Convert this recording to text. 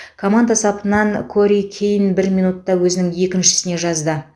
команда сапынан кори кейн бір минутта өзінің еншісіне жазды